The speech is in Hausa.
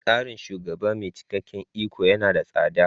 Tsarin shugaba mai cikakken iko yana da tsada.